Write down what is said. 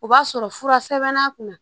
O b'a sɔrɔ fura sɛbɛnna kunna